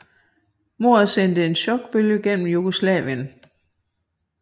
Mordet sendte en chokbølge igennem Jugoslavien